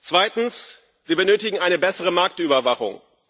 Zweitens Wir benötigen eine bessere Marktüberwachung.